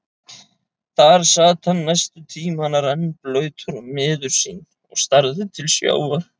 Þar sat hann næstu tímana, rennblautur og miður sín og starði til sjávar.